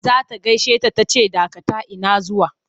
Za ta gaishe ta ta ce dakata ina zuwa!